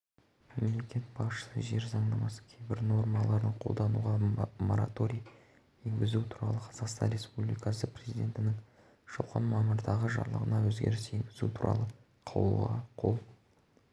мемлекет басшысы жер заңнамасының кейбір нормаларын қолдануға мораторий енгізу туралы қазақстан республикасы президентінің жылғы мамырдағы жарлығына өзгеріс енгізу туралы қаулыға қол